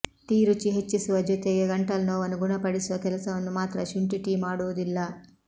tea ರುಚಿ ಹೆಚ್ಚಿಸುವ ಜೊತೆಗೆ ಗಂಟಲು ನೋವನ್ನು ಗುಣಪಡಿಸುವ ಕೆಲಸವನ್ನು ಮಾತ್ರ ಶುಂಠಿ ಟೀ ಮಾಡುವುದಿಲ್ಲ